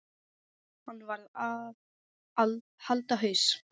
Hann varð að halda haus.